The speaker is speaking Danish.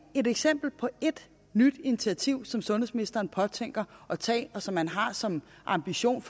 et eksempel på et nyt initiativ som sundhedsministeren påtænker at tage og som man har som en ambition